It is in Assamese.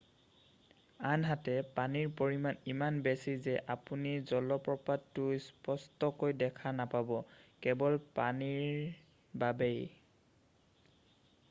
আনহাতে পানীৰ পৰিমাণ ইমান বেছি যে আপুনি জলপ্ৰপাতটো স্পষ্টকৈ দেখা নাপাব-কেৱল পানীৰ বাবেই